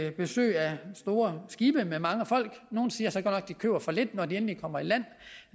store skibe med mange folk nogle siger så godt nok at de køber for lidt når de endelig kommer i land